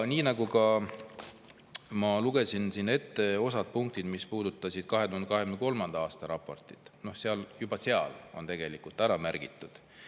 Aga ma lugesin siin ette osad punktid, mis puudutasid 2023. aasta raportit, juba seal on tegelikult ära märgitud.